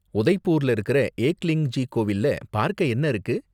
உதய்பூர்ல இருக்கற ஏக்லிங்ஜி கோவில்ல பார்க்க என்ன இருக்கு?